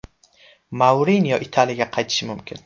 Mourinyo Italiyaga qaytishi mumkin.